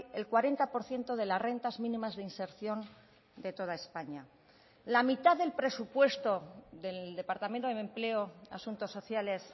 el cuarenta por ciento de las rentas mínimas de inserción de toda españa la mitad del presupuesto del departamento de empleo asuntos sociales